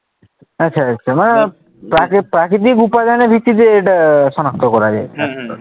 আচ্ছা আচ্ছা মানে প্রাকৃতিক প্রাকৃতিক উপাদানের ভিত্তিতে এটা সনাক্ত করা যায়।